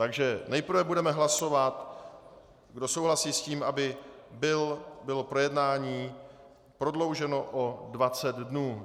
Takže nejprve budeme hlasovat, kdo souhlasí s tím, aby bylo projednání prodlouženo o 20 dnů.